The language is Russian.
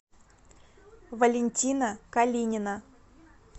валентина калинина